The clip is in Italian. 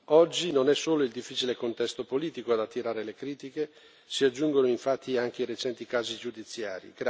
Oggi non è solo il difficile contesto politico ad attirare le critiche, ma si aggiungono anche i recenti gravi casi giudiziari.